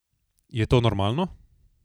Je to normalno?